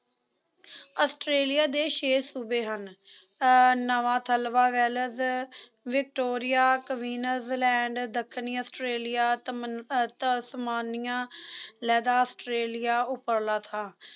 Australia ਦੇ ਛੇ ਸੂਬੇ ਹਨ ਅਹ ਨਵਾਂ ਥਲਵਾ ਵੈਲਸ, ਵਿਕਟੋਰੀਆ, queensland ਦੱਖਣੀ ਆਸਟ੍ਰੇਲੀਆ, ਤਮ ਅਹ ਤਸਮਾਨੀਆ, ਲਹਿਦਾ ਆਸਟ੍ਰੇਲੀਆ ਉਪਰਲਾ ਥਾਂ